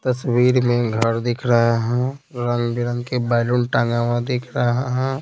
तस्वीर में घर दिख रहा है रंग बिरंग के बैलून टांगा हुआ दिख रहा है।